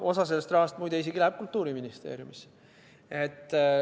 Osa sellest rahast, muide, läheb isegi Kultuuriministeeriumisse.